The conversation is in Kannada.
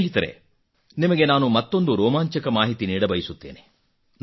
ಸ್ನೇಹಿತರೆ ನಿಮಗೆ ನಾನು ಮತ್ತೊಂದು ರೋಮಾಂಚಕ ಮಾಹಿತಿ ನೀಡಬಯಸುತ್ತೇನೆ